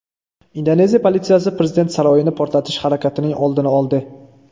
Indoneziya politsiyasi prezident saroyini portlatish harakatining oldini oldi.